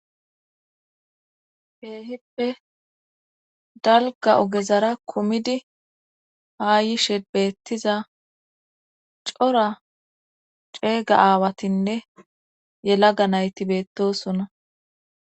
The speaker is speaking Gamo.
Keehippe dalga ogezara kumidi haa yishe beettiza cora ceega aawatinne yelaga nayti beettosona.